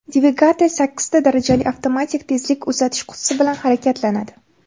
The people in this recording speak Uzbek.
Dvigatel sakkizta darajali avtomatik tezlik uzatish qutisi bilan harakatlanadi.